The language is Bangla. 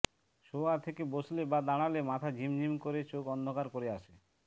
শোওয়া থেকে বসলে বা দাঁড়ালে মাথা ঝিম ঝিম করে চোখ অন্ধকার করে আসে